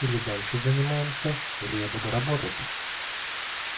или дальше занимаемся или я буду работать